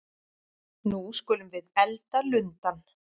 Nú skulum við elda lundann!